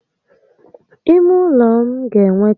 Ímé ụlọ m ga enwe tébulu